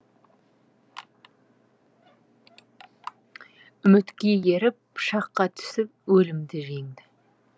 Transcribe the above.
үмітке еріп пышаққа түсіп өлімді жеңді